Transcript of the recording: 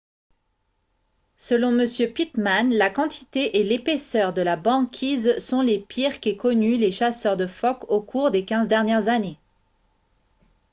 selon m pittman la quantité et l'épaisseur de la banquise sont les pires qu'aient connues les chasseurs de phoques au cours des 15 dernières années